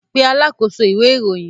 Pe alákòóso ìwé-ìròyìn!